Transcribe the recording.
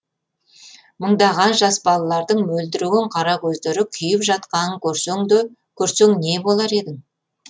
мыңдаған жас балалардың мөлдіреген қара көздері күйіп жатқанын көрсең не болар едің